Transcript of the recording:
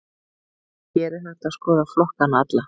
Hér er hægt að skoða flokkana alla.